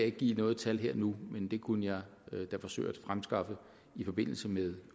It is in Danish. ikke give noget tal her og nu men det kunne jeg da forsøge at fremskaffe i forbindelse med